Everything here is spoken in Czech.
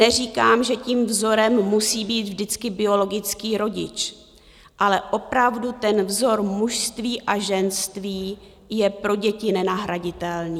Neříkám, že tím vzorem musí být vždycky biologický rodič, ale opravdu ten vzor mužství a ženství je pro děti nenahraditelný.